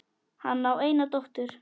Hann á eina dóttur.